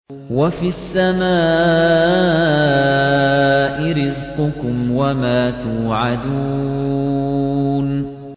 وَفِي السَّمَاءِ رِزْقُكُمْ وَمَا تُوعَدُونَ